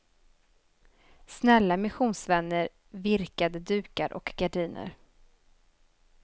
Snälla missionsvänner virkade dukar och gardiner.